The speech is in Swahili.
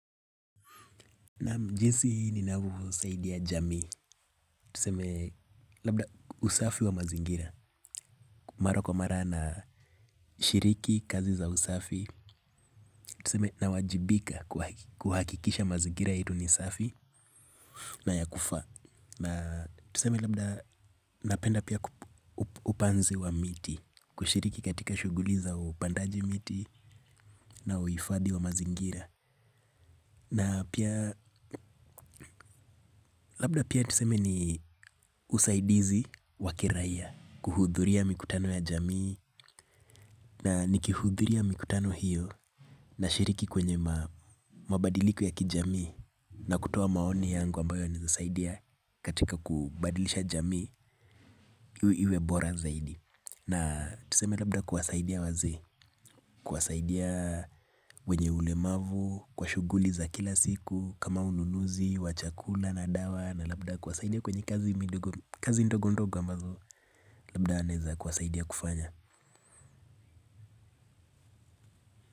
Naam, jinsi ninavyosaidia jamii. Tuseme labda usafi wa mazingira. Mara kwa mara nashiriki kazi za usafi. Tuseme nawajibika kuhakikisha mazingira yetu ni safi na ya kufaa. Na tuseme labda napenda pia upanzi wa miti. Kushiriki katika shughuli za upandaji miti na uhifadhi wa mazingira. Na pia labda pia tuseme ni usaidizi wa kiraia, kuhudhuria mikutano ya jamii na nikihudhuria mikutano hiyo nashiriki kwenye mabadiliko ya kijamii na kutoa maoni yangu ambayo yanaweza saidia katika kubadilisha jamii iwe bora zaidi. Na tuseme labda kuwasaida wazee, kuwasadia wenye ulemavu, kwa shughuli za kila siku, kama ununuzi, wa chakula na dawa, na labda kuwasaida kwenye kazi midogo ndogo ndogo ambazo labda naeza kuwasadia kufanya.